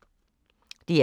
DR P3